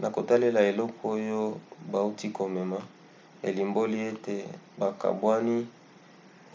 na kotalela eloko oyo bauti komona elimboli ete bokabwani